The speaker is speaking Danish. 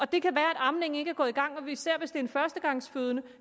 det kan være at amningen ikke er gået i gang især hvis det er en førstegangsfødende